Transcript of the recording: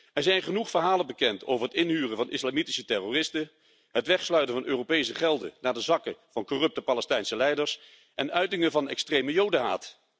Er zijn genoeg verhalen bekend over het inhuren van islamitische terroristen, het wegsluizen van Europese gelden naar de zakken van corrupte Palestijnse leiders en uitingen van extreme Jodenhaat.